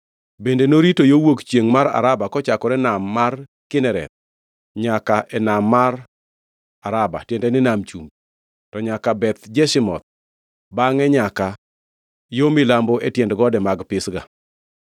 Bende norito yo wuok chiengʼ mar Araba kochakore e Nam mar Kinereth nyaka e Nam mar Araba (tiende ni, Nam Chumbi), to nyaka Beth Jeshimoth, bangʼe nyaka yo milambo e tiend gode mag Pisga.